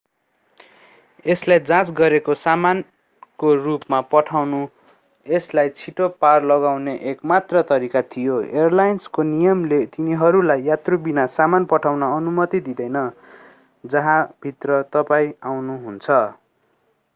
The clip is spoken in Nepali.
यसलाई जाँच गरेको सामानको रूपमा पठाउनु यसलाई छिटो पार गराउने एक मात्र तरीका थियो एयरलाइन्सको नियमले तिनीहरूलाई यात्रुबिना सामान पठाउन अनुमति दिँदैन जहाँभित्र तपाईं आउनुहुन्छ